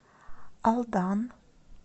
алдан